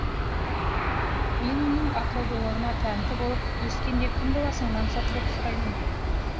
мен оның ақылдылығына тәнті болып өскенде кім боласың мансұр деп сұраймын